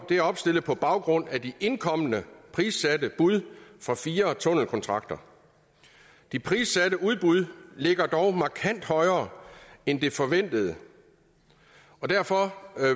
det er opstillet på baggrund af de indkomne prissatte bud for fire tunnelkontrakter de prissatte bud ligger dog markant højere end det forventede og derfor